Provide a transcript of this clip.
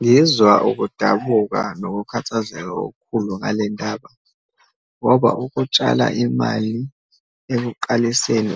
Ngizwa ukudabuka nokukhathazeka okukhulu ngalendaba, ngoba ukutshala imali ekuqaliseni